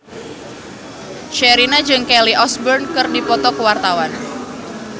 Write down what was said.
Sherina jeung Kelly Osbourne keur dipoto ku wartawan